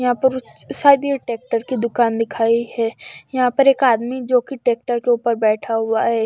यहां पर ट्रैक्टर की दुकान दिखाई है यहां पर एक आदमी जो कि ट्रैक्टर के ऊपर बैठा हुआ है।